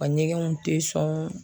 U ka ɲɛgɛnw tɛ sɔn.